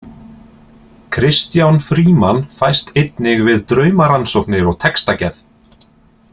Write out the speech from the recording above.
Kristján Frímann fæst einnig við draumarannsóknir og textagerð.